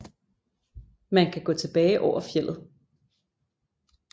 Man kan gå tilbage over fjeldet